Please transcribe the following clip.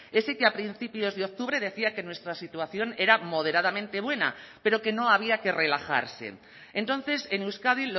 ese que a principios de octubre decía que nuestra situación era moderadamente buena pero que no había que relajarse entonces en euskadi